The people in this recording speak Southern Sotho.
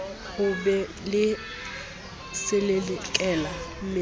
ho be le selelekela mmele